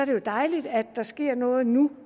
det jo dejligt at der sker noget nu